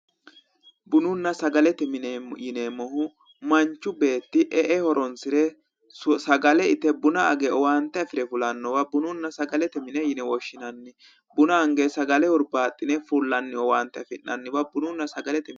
Bununna sagalete mine yineemmohu manchu beetti e'e horoonsire sagale ite buna age owaante afire fulannowa bununna sagalete mine yine woshinanni buna ange sagale hurbaaxcine fullanniwa bununna sagalete mine yinanni